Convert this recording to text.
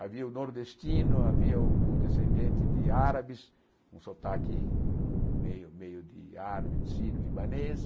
Havia o nordestino, havia o o descendente de árabes, um sotaque meio meio de árabe, de sírio, libanês.